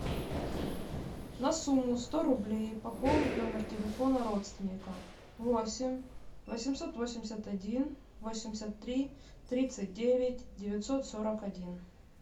на сумму сто рублей пополнить номер телефона родственника восемь восемьсот восемьдесят один восемьдесят три тридцать девять девятьсот сорок один